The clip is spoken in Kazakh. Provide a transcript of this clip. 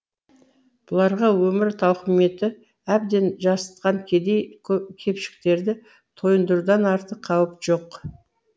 бұларға өмір тауқыметі әбден жасытқан кедей кепшіктерді тойындырудан артық қауіп жоқ